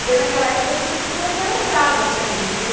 Porque naquela época as professoras eram bravas também, viu?